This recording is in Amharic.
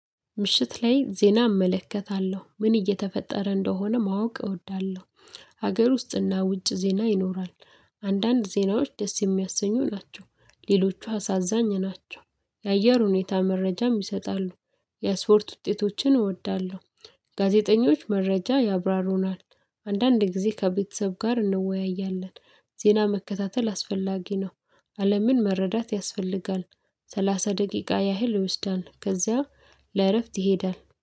ምሽት ላይ ዜና እመለከታለሁ ምን እየተፈጠረ እንደሆነ ማወቅ እወዳለሁ። ሀገር ውስጥና ውጭ ዜና ይኖራል። አንዳንድ ዜናዎች ደስ የሚያሰኙ ናቸው ሌሎቹ አሳዛኝ ናቸው። የአየር ሁኔታ መረጃም ይሰጣሉ። የአስፖርት ውጤቶችን እወዳለሁ። ጋዜጠኞች መረጃ ያብራሩናል። አንዳንድ ጊዜ ከቤተሰብ ጋር እንወያያለን። ዜና መከታተል አስፈላጊ ነው። አለምን መረዳት ያስፈልጋል። ሰላሳ ደቂቃ ያህል ይወስዳል ከዚያም ለእረፍት ይሄዳል